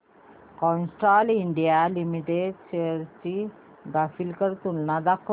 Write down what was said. Castrol India limited shares ची graphical तुलना दाखव